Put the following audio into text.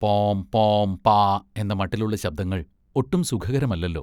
പോം, പോം, പാ, എന്ന മട്ടിലുള്ള ശബ്ദങ്ങൾ ഒട്ടും സുഖകരമല്ലല്ലോ.